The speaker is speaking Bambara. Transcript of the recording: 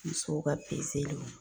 Musow ka peseliw